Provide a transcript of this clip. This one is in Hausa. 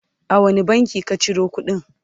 a wani bankin ka Ciro kudin?